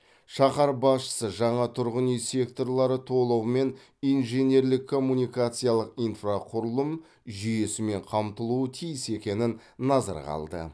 шаһар басшысы жаңа тұрғын үй секторлары толығымен инженерлік коммуникациялық инфрақұрылым жүйесімен қамтылуы тиіс екенін назарға алды